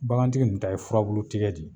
Bagantigi nin ta ye furabulu tigɛ di